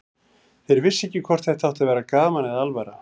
Þau vissu ekki hvort þetta átti að vera gaman eða alvara.